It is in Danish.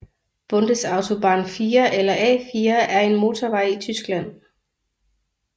Bundesautobahn 4 eller A 4 er en motorvej i Tyskland